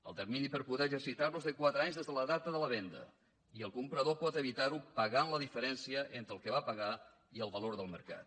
el termini per poder exercitar lo és de quatre anys des de la data de la venda i el comprador pot evitar ho pagant la diferència entre el que va pagar i el valor del mercat